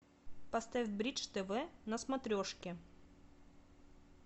поставь бридж тв на смотрешке